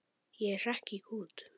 Ég hrekk í kút.